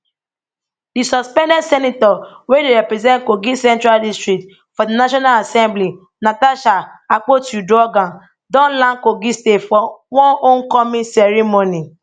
di suspended senator wey dey represent kogi central district for di national assembly natasha akpotiuduaghan don land kogi state for one home coming ceremony